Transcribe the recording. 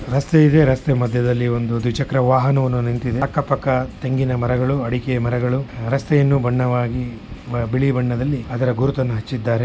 ರಸ್ತೆ ಇದೆ ರಸ್ತೆ ಮಧ್ಯದಲ್ಲಿ ಒಂದು ದ್ವಿಚಕ್ರ ವಾಹನವನ್ನು ನಿಂತಿದ್ದೆ ಅಕ್ಕಪಕ್ಕ ತೆಂಗಿನ ಮರಗಳು ಅಡಿಕೆ ಮರಗಳು ರಸ್ತೆಯನ್ನು ಬಣ್ಣವಾಗಿ ಬಿಳಿ ಬಣ್ಣದಲ್ಲಿ ಅದನ್ನು ಗುರುತಿಸಿದ್ದಾರೆ .